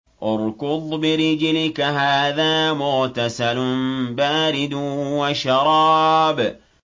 ارْكُضْ بِرِجْلِكَ ۖ هَٰذَا مُغْتَسَلٌ بَارِدٌ وَشَرَابٌ